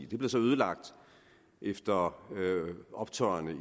det blev så ødelagt efter optøjerne i